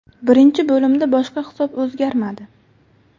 Birinchi bo‘limda boshqa hisob o‘zgarmadi.